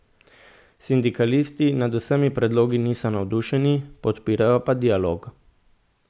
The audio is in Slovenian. Sindikalisti nad vsemi predlogi niso navdušeni, podpirajo pa dialog.